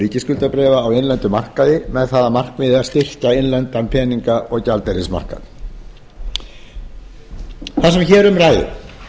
ríkisskuldabréfa á innlendum markaði með það að markmiði að styrkja innlendan peninga og gjaldeyrismarkað þar sem hér um ræðir er